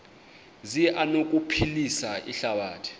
zi anokuphilisa ihlabathi